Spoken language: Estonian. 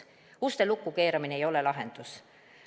Uste lukku keeramine ei ole lahendus.